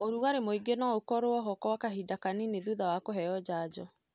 ũrugari mwĩngi no ũkorwo ho gwa kahinda kanini thutha wa kũheo janjo.